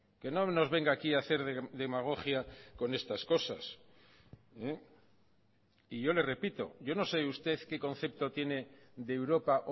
que no nos venga aquí a hacer demagogia con estas cosas y yo le repito yo no sé usted qué concepto tiene de europa